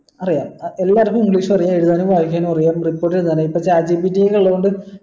അറിയാം എല്ലാര്ക്കും english അറിയ എഴുതാന് വായിക്കാനുമറിയാം report എഴ്താൻ ഇപ്പൊ chat gpt ഉള്ളത്കൊണ്ട്